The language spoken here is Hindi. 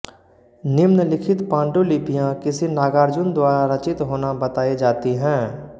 निम्नलिखित पाण्डुलिपियाँ किसी नागार्जुन द्वारा रचित होना बतायी जाती हैं